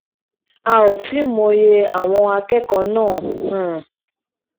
a ò tí ì mòye àwọn akẹ́kọ̀ọ́ náà um